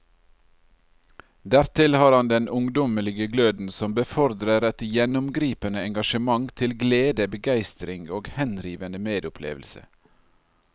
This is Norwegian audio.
Dertil har han den ungdommelige gløden som befordrer et gjennomgripende engasjement til glede, begeistring og henrivende medopplevelse.